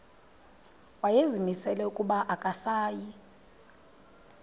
wayezimisele ukuba akasayi